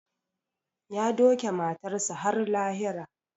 Ya doke matarsa ​​har lahira